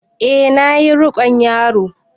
E na ƴi rikon yaro.